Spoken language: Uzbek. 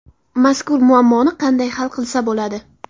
Mazkur muammoni qanday hal qilsa bo‘ladi?